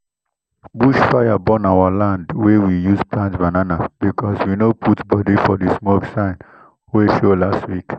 bush fire burn our land wey we use plant banana because we no put body for the smoke sign wey show last week.